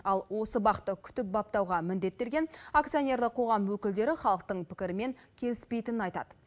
ал осы бақты күтіп баптауға міндеттелген акционерлік қоғам өкілдері халықтың пікірімен келіспейтінін айтады